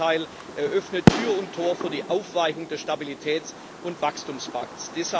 Im Gegenteil, er öffnet Tür und Tor für die Aufweichung des Stabilitäts und Wachstumspakts.